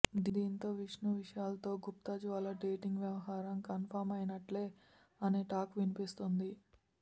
దీంతో విష్ణు విశాల్తో గుత్తా జ్వాల డేటింగ్ వ్యవహారం కన్ఫర్మ్ అయినట్లే అనే టాక్ వినిపిస్తోంది